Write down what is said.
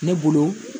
Ne bolo